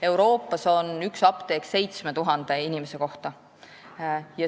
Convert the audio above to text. Euroopas on üks apteek 7000 inimese kohta.